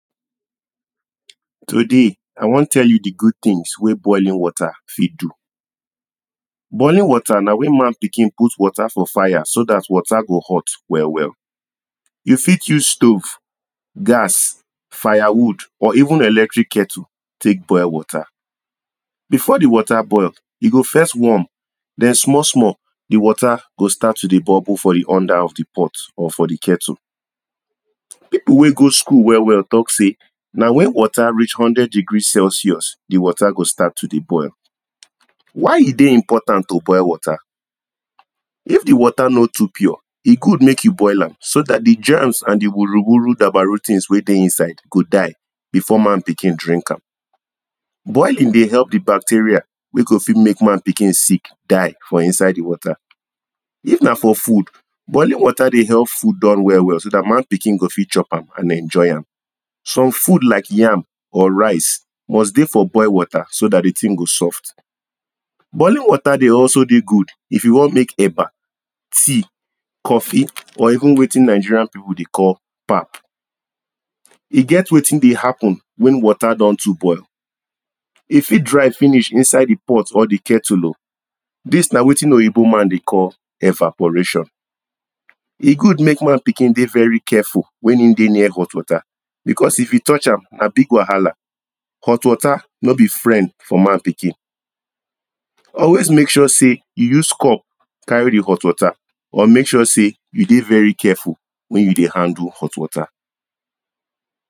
Today I wan tell you di good things wen boiling water fit do, boiling water na wen man pikin put water for fire so dat water go hot well well. You fit use stove, gas, firewood or even electric kettle take boil water. Before di water boil, e go first warm den small small di water go start to dey bubble for di under of di pot or for di kettle. People wen go school well well talk say, na wen water reach hundred degree celsius di water go start to dey boil why e dey important to boil water? If di water no too pure, e good make you boil am so dat di germs and di wuru-wuru dabaru things wey dey inside go die before man pikin drink am. Boiling dey help di bacteria wey go fit make man pikin sick die for inside di water, if na for food, boilng water dey help food done well well so dat man pikin go fit chop am and enjoy am. Some food like yam or rice must dey for boiled water so dat di thing go soft. Boiling water dey also dey good if you wan make eba, tea, coffee or even wetin Nigerian people dey call pap. E get wetin dey happen wen water don too boil, e fit dry finish inside di pot or di kettle oh, dis na wetin oyibo man dey call evaporation. E good make man pikin dey very carfeul if e dey near hot water, because if e touch am na big wahala. Hot water no be friend for man pikin, always make sure sey you use cup carry di hot water or make sure sey you dey very careful wen you dy handle hot water.